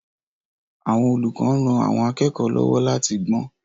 Àwọn olùkọ́ ń ran àwọn akẹ́kọ̀ọ́ lọ́wọ́ láti gbọ́n.